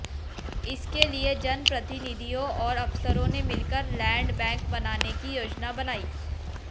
इसके लिए जनप्रतिनिधियों और अफसरों ने मिलकर लैंड बैंक बनाने की योजना बनाई